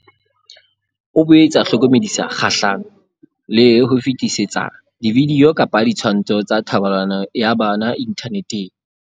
O boetse a hlokomedisa kgahlano le ho fetisetsana dividio kapa ditshwantsho tsa thobalano ya bana inthaneteng.